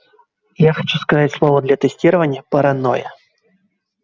я хочу сказать слово для тестирования паранойя